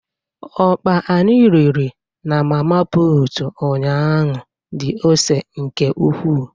Ọkpa anyi riri na mama put ụnyahụ dị ose nke ukwu.